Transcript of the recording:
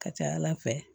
Ka ca ala fɛ